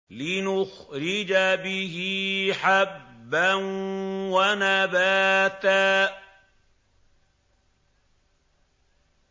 لِّنُخْرِجَ بِهِ حَبًّا وَنَبَاتًا